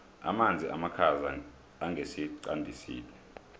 amanzi amakhaza angesiqandisini